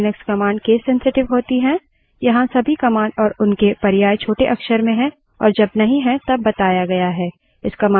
पहली command जो हम देखेंगे वो है एक्को command ध्यान the Linux command case sensitive होती हैं